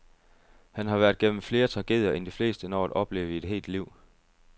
Han har været gennem flere tragedier end de fleste når at opleve i et helt liv.